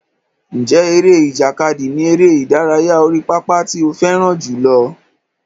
Ǹjẹ́ eré ìjàkadì ni eré ìdárayá orí pápá tí ó fẹ́ràn jùlọ?